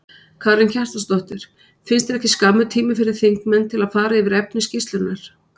Karen Kjartansdóttir: Finnst þér ekki skammur tími fyrir þingmenn til að fara yfir efni skýrslunnar?